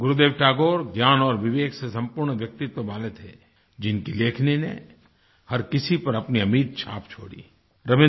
गुरुदेव टैगोर ज्ञान और विवेक से सम्पूर्ण व्यक्तित्व वाले थे जिनकी लेखनी ने हर किसी पर अपनी अमिट छाप छोड़ी